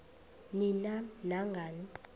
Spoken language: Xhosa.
ni nam nangani